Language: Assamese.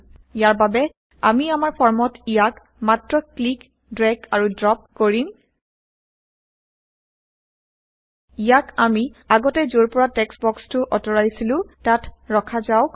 ইয়াৰ বাবে আমি আমাৰ ফৰ্মত ইয়াক মাত্ৰ ক্লিক ড্ৰেগ আৰু ড্ৰপ কৰিম ইয়াক আমি আগতে যৰ পৰা টেক্সট বক্সটো অতৰাইছিলো তাত ৰখা যাওক